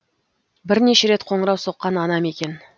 бірнеше рет қоңырау соққан анам екен